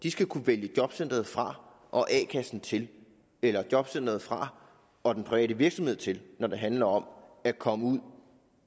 de skal kunne vælge jobcenteret fra og a kassen til eller jobcenteret fra og den private virksomhed til når det handler om at komme ud